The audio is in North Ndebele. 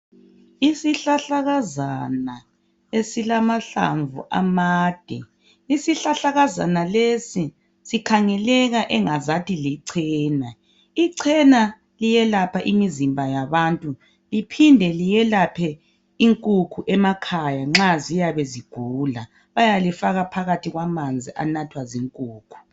isihlahlakazana esilamahlamvu amade isihlahlakazana lesi sikhangeleka engazathi lichena ichena liyelapha imizimba yabantu liphinde liyelaphe inkukhu emakhaya nxa ziyabe zigula bayalifaka phakathi kwamanzi anathwa zinkukhu